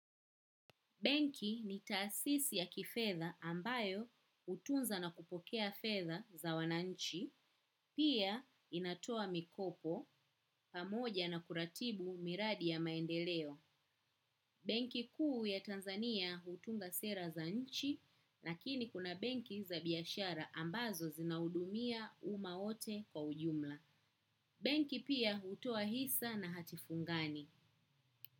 Benki ni taasisi ya kifedha ambayo hutunza na kupokea fedha za wananchi, pia inatoa mikopo pamoja na kuratibu miradi ya maendeleo. Benki kuu ya Tanzania hutunga sera za nchi, lakini kuna benki za biashara ambazo zinahudumia umma wote kwa ujumla. Benki pia hutoa hisa na hatifungani.